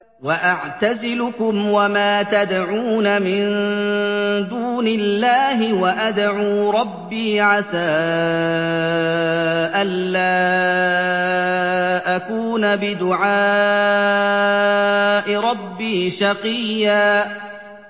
وَأَعْتَزِلُكُمْ وَمَا تَدْعُونَ مِن دُونِ اللَّهِ وَأَدْعُو رَبِّي عَسَىٰ أَلَّا أَكُونَ بِدُعَاءِ رَبِّي شَقِيًّا